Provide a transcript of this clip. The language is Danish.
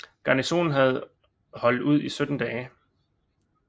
Garnisonen havde holdt ud i 17 dage